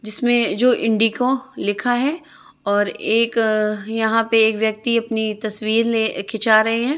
जिसमें जो इंडिगो लिखा है और एक यहां पे एक व्यक्ति अपनी तस्वीर ले खींचा रहे हैं।